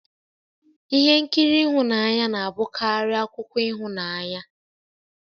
Ihe nkiri ihunanya na-abụkarị akụkọ ịhụnanya